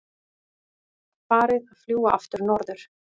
Farið að fljúga aftur norður